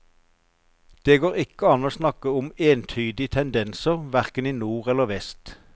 Det går ikke an å snakke om entydige tendenser verken i nord eller vest.